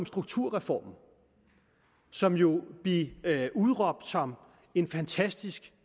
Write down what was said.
strukturreformen som jo blev udråbt som en fantastisk